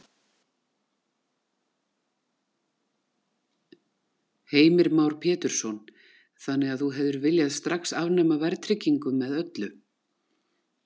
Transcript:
Heimir Már Pétursson: Þannig að þú hefðir viljað strax afnema verðtryggingu með öllu?